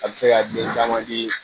A bɛ se ka den caman di